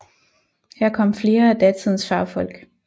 Her kom flere af datidens fagfolk